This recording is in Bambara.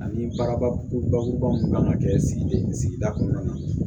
Ani barabakuruba mun kan ka kɛ sigida kɔnɔna na